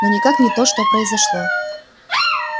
но никак не то что произошло